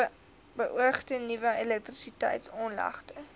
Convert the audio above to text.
beoogde nuwe elektrisiteitsaanlegte